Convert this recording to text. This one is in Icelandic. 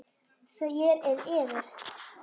Þér eruð?